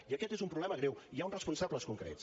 i aquest és un problema greu i hi ha uns responsables concrets